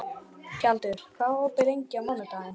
Tjaldur, hvað er opið lengi á mánudaginn?